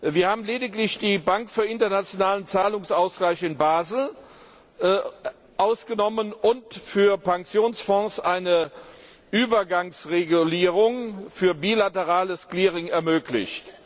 Wir haben lediglich die Bank für Internationalen Zahlungsausgleich in Basel ausgenommen und für Pensionsfonds eine Übergangsregulierung für bilaterales Clearing ermöglicht.